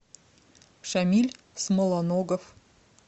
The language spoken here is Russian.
шамиль смолоногов